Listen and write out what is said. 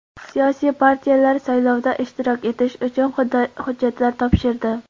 Siyosiy partiyalar saylovda ishtirok etish uchun hujjatlar topshirdi.